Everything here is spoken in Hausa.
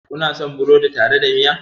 Kuna son burodi tare da miya?